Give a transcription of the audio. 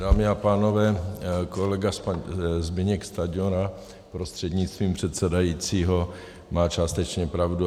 Dámy a pánové, kolega Zbyněk Stanjura prostřednictvím předsedajícího má částečně pravdu.